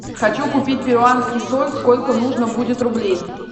хочу купить перуанский соль сколько нужно будет рублей